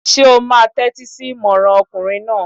Ṣé o máa tẹ́tí sí ìmọràn ọkùnrin náà?